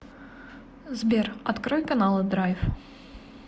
сбер открой каналы драйв